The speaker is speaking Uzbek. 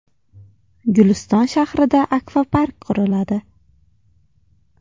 Guliston shahrida akvapark quriladi.